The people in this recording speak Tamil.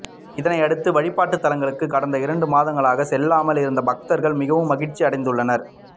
இதனை அடுத்து வழிபாட்டுத் தலங்களுக்கு கடந்த இரண்டு மாதங்களாக செல்லாமல் இருந்த பக்தர்கள் மிகவும் மகிழ்ச்சி அடைந்துள்ளனர்